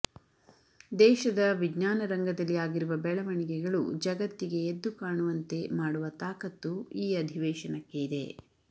ದೇಶದ ವಿಜ್ಞಾನ ರಂಗದಲ್ಲಿ ಆಗಿರುವ ಬೆಳವಣಿಗೆಗಳು ಜಗತ್ತಿಗೆ ಎದ್ದು ಕಾಣುವಂತೆ ಮಾಡುವ ತಾಕತ್ತು ಈ ಅಧಿವೇಶನಕ್ಕೆ ಇದೆ